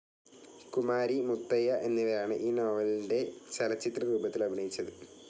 കുമാരി, മുത്തയ്യ എന്നിവരാണ് ഈ നോവലിൻ്റെ ചലചിത്രരൂപത്തിൽ അഭിനയിച്ചത്.